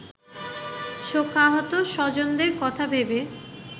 শোকাহত স্বজনদের কথা ভেবে